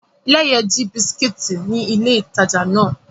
Leye ji bisikiti ni ile itaja náà